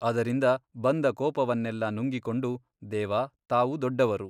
ಅದರಿಂದ ಬಂದ ಕೋಪವನ್ನೆಲ್ಲ ನುಂಗಿಕೊಂಡು ದೇವಾ ತಾವು ದೊಡ್ಡವರು.